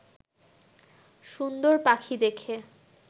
সুন্দর পাখি দেখে